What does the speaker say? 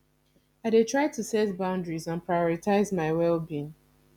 i dey try to set boundaries and prioritize my wellbeing